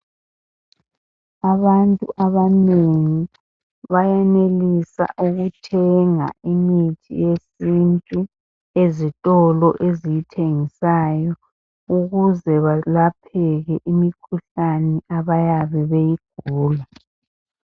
abantu abanengi bayenelisa ukuthenga imithi yesintu ezitolo ezithengisayo ukuze balapheke imikhuhlane abayabe beyigula